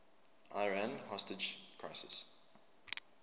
iran hostage crisis